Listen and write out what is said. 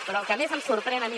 però el que més em sorprèn a mi